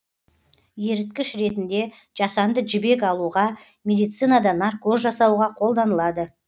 еріткіш ретінде жасанды жібек алуға медицинада наркоз жасауға қолданылады